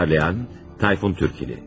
Uyğunlaşdıran, Tayfun Türkili.